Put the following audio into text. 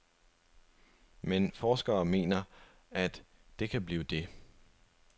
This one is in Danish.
Men forskere mener, at det kan blive det.